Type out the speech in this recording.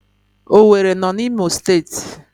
Owerri no na Imo steeti